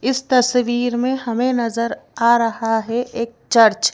इस तस्वीर में हमें नजर आ रहा है एक चर्च --